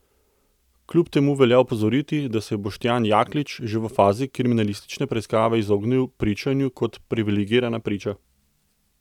Kljub temu velja opozoriti, da se je Boštjan Jaklič že v fazi kriminalistične preiskave izognil pričanju kot privilegirana priča.